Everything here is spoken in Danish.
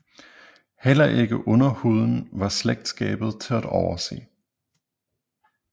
Heller ikke under huden var slægtskabet til at overse